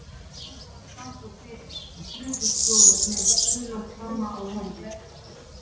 Skammt frá standa tveir gröfustjórar með gula hjálma á höfði.